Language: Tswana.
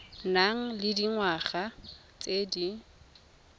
nang le dingwaga tse di